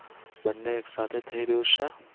બંને એકસાથે થઈ રહ્યું છે.